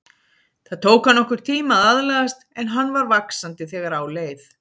Það tók hann nokkurn tíma að aðlagast en hann var vaxandi þegar á leið.